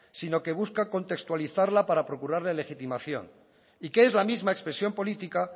sino que busca contextualizarla para procurar la legitimación y que es la misma expresión política